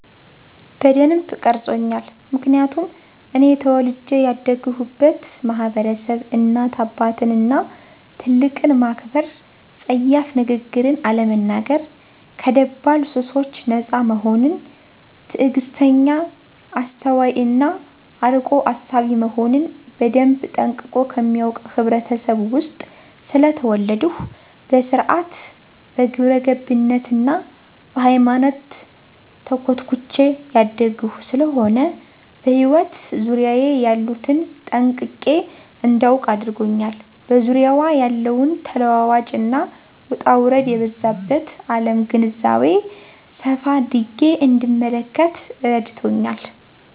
በደንብ ቀርጾኛል ምክንያቱም እኔ ተወልጀ ያደግሁበት ማህበረሰብ እናት አባትን እና ትልቅን ማክበር :ጸያፍ ንግግርን አለመናገር :ከደባል ሱሶች ነጻ መሆንን :ትግስተኛ :አስተዋይ እና አርቆ አሳቢ መሆንን በደንብ ጠንቅቆ ከሚያውቅ ህብረተሰብ ውስጥ ስለተወለድሁ በስርአት :በግብረገብነት እና በሃይማኖት ተኮትኩቸ ያደግሁ ስለሆነ በህይወት ዙሪያየ ያሉትን ጠንቅቄ እዳውቅ አድርጎኛል በዙሪያዋ ያለውን ተለዋዋጭ እና ውጣውረድ የበዛባት አለም ግንዛቤ ሰፋ አድርጌ እንድንመለከት እረድቶኛል።